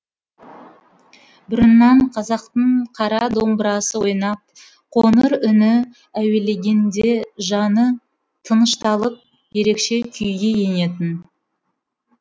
бұрыннан қазақтың қара домбырасы ойнап қоңыр үні әуелегенде жаны тынышталып ерекше күйге енетін